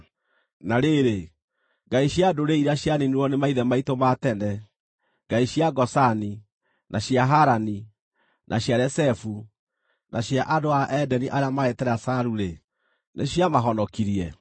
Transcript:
Na rĩrĩ, ngai cia ndũrĩrĩ iria cianiinirwo nĩ maithe maitũ ma tene: ngai cia Gozani, na cia Harani, na cia Rezefu, na andũ a Edeni arĩa maarĩ Telasaru-rĩ, nĩciamahonokirie?